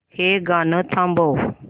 हे गाणं थांबव